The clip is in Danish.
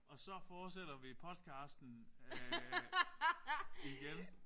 Og så fortsætter vi podcasten igen